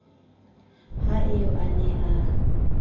ha eo a ne a